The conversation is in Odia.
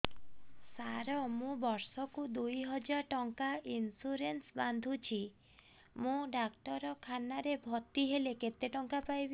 ସାର ମୁ ବର୍ଷ କୁ ଦୁଇ ହଜାର ଟଙ୍କା ଇନ୍ସୁରେନ୍ସ ବାନ୍ଧୁଛି ମୁ ଡାକ୍ତରଖାନା ରେ ଭର୍ତ୍ତିହେଲେ କେତେଟଙ୍କା ପାଇବି